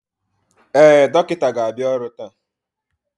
Ee, dọkịta ga-abịa ọrụ taa